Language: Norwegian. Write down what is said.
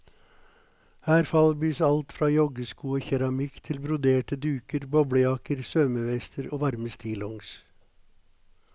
Her falbys alt fra joggesko og keramikk til broderte duker, boblejakker, svømmevester og varme stillongs.